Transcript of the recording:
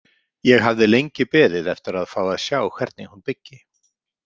Ég hafði lengi beðið eftir að fá að sjá hvernig hún byggi.